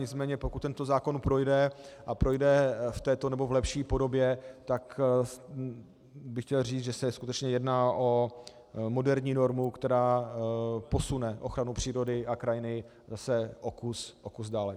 Nicméně pokud tento zákon projde a projde v této nebo v lepší podobě, tak bych chtěl říci, že se skutečně jedná o moderní normu, která posune ochranu přírody a krajiny zase o kus dále.